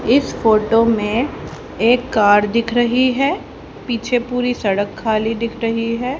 इस फोटो में एक कार दिख रही हैं पीछे पूरी सड़क खाली दिख रही हैं।